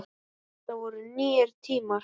Það voru nýir tímar.